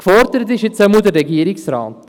– Gefordert ist nun der Regierungsrat.